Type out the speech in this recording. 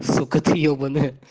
сука ты ёбанная